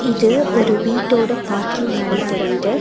இது ஒரு வீட்டோட பார்க்கிங் மாரி தெரியிது.